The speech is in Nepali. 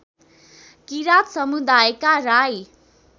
किरात समुदायका राई